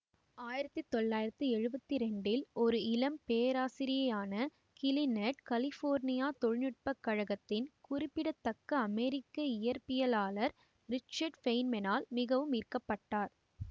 ஆயிரத்தி தொள்ளாயிரத்தி எழுவத்தி இரண்டில் ஒரு இளம் பேராசிரியரான கிலிநெர்டு கலிபோர்னியா தொழில்நுட்ப கழகத்தின் குறிப்பிடத்தக்க அமெரிக்க இயற்பியலாளர் ரிச்சர்ட் ஃபேய்ன்மேனால் மிகவும் ஈர்க்கப்பட்டார்